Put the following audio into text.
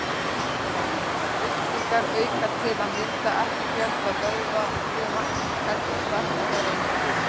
Lyftingar auka til að mynda ekki fjölda vöðvafruma heldur stækka þær einungis.